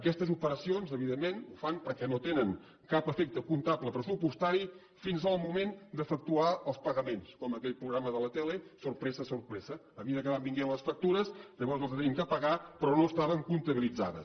aquestes operacions evidentment les fan perquè no tenen cap efecte comptable pressupostari fins al moment d’efectuar els pagaments com aquell programa de la tele sorpresa sorpresa a mesura que van venint les factures llavors les hem de pagar però no estaven comptabilitzades